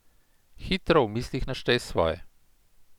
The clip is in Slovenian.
Hitro v mislih naštej svoje.